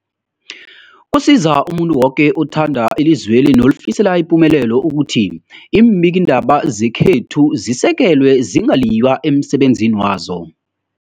Kusiza umuntu woke othanda ilizweli nolifisela ipumelelo ukuthi iimbikiindaba zekhethu zisekelwe, zingaliywa emsebenzini wazo.